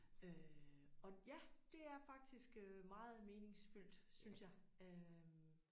Øh og ja det er faktisk øh meget meningsfyldt synes jeg øh